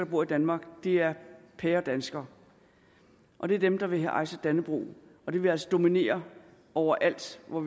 bor i danmark er pæredanskere og det er dem der vil hejse dannebrog og det vil altså dominere overalt hvor